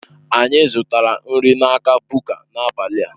Anyị zụtara nri n'aka Buka n'abalị a.